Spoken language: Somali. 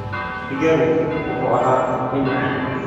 Digaaggu wuxuu ahaa mid macaan.